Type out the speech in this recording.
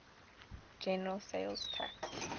general sales tax